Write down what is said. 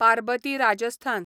Parbati Rajasthan